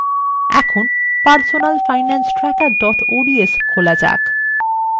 এখন personalfinancetracker ods খোলা যাক